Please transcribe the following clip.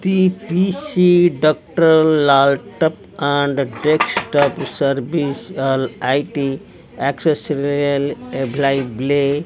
PPC doctor laptop and tip top service all IT accessories available --